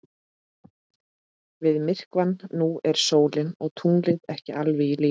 Við myrkvann nú eru sólin og tunglið ekki alveg í línu.